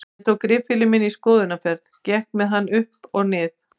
Ég tók riffilinn minn í skoðunarferð, gekk með hann upp og nið